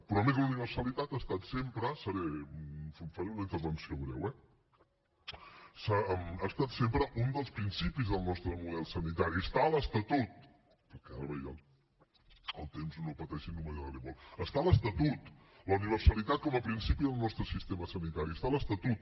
però a més la universalitat ha estat sempre faré una intervenció breu eh un dels principis del nostre model sanitari està a l’estatut ara veia el temps no pateixin no m’allargaré gaire la universalitat com a principi del nostre sistema sanitari està a l’estatut